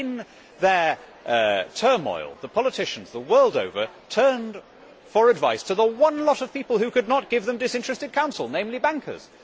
In their turmoil, politicians the world over turned for advice to the one lot of people who could not give them disinterested counsel, namely bankers.